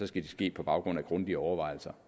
skal de ske på baggrund af grundige overvejelser